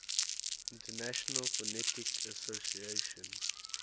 international phonetic association